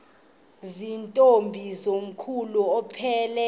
zirntombi komkhulu aphelela